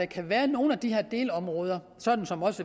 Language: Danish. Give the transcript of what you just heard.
kan være nogle af de her delområder sådan som